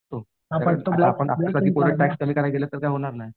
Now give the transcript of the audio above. आपल्यासारखी पोरं टॅक्स कमी करायला गेले तर काय होणार नाही.